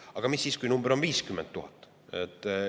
Aga mis siis, kui see number on 50 000?